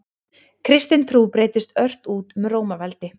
Kristin trú breiddist ört út um Rómaveldi.